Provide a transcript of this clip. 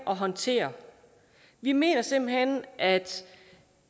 og håndtere vi mener simpelt hen at